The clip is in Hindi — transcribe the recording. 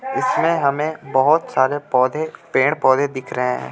इसमें हमें बोहोत सारे पौधे पेड़ पौधे दिख रहे हे.